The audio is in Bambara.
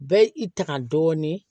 Bɛɛ i tanga dɔɔnin